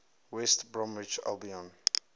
west bromwich albion